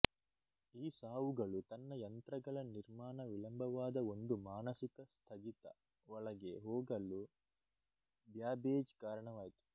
ಈ ಸಾವುಗಳು ತನ್ನ ಯಂತ್ರಗಳ ನಿರ್ಮಾಣ ವಿಳಂಬವಾದ ಒಂದು ಮಾನಸಿಕ ಸ್ಥಗಿತ ಒಳಗೆ ಹೋಗಲು ಬ್ಯಾಬೇಜ್ ಕಾರಣವಾಯಿತು